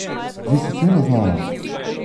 Zdi se cela znanost!